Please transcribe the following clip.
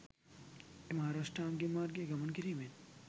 එම ආර්ය අෂ්ටාංගික මාර්ගයේ ගමන් කිරීමෙන්